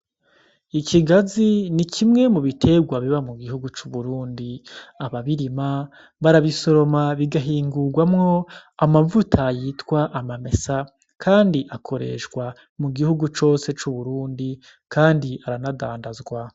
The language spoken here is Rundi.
Ikigazi ni kimwe mu biterwa biba mu gihugu c'uburundi . Ababirima barabisoroma bigahingurwamwo amavuta yitwa amamesa , kandi akoreshwa mu gihugu cose c'uburundi kandi aranadandazwa .